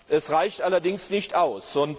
Er reicht allerdings nicht aus.